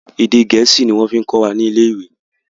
Èdè gẹ̀ẹ́sì ni wọ́n fí kọ́ wa ni ilé ìwé.